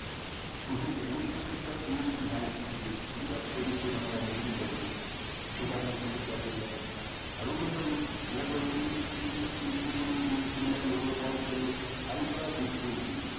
net profit টা এইরকম হওয়া উচিত ছিল শুধু একটা জিনিস আমার negative লাগলো সেটা আপনাদের সঙ্গে share করলাম আর এই company দুহাজার উনিশ -কুড়ি, একুশ কোন depth ছিল না দুহাজার বাইশ সালে হালকা depth হয়েছে